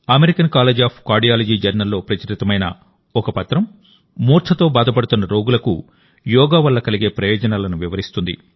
American College of Cardiology జర్నల్లో ప్రచురితమైన ఒక పత్రం మూర్ఛతో బాధపడుతున్న రోగులకు యోగా వల్ల కలిగే ప్రయోజనాలను వివరిస్తుంది